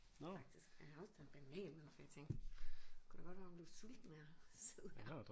Faktisk og jeg har også taget en banan med for jeg tænkte det kunne da godt være man blev sulten af at sidde her